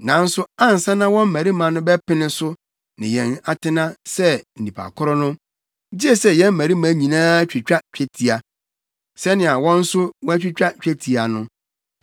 Nanso ansa na wɔn mmarima no bɛpene so ne yɛn atena sɛ nnipa koro no, gye sɛ yɛn mmarima nyinaa twitwa twetia, sɛnea wɔn nso wɔatwitwa twetia no.